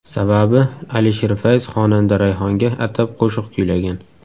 Sababi Alisher Fayz xonanda Rayhonga atab qo‘shiq kuylagan.